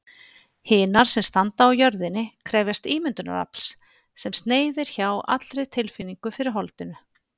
Hinar sem standa á jörðinni krefjast ímyndunarafls, sem sneiðir hjá allri tilfinningu fyrir holdinu.